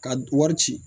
Ka wari ci